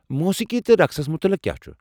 موٗسیٖقی تہٕ رقسس متعلق کیٛاہ چھ؟